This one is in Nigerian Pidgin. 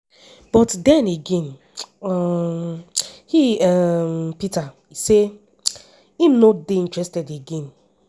but den again um he um [peter] say im no dey interested again.